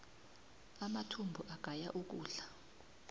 amathumbu agaya ukudla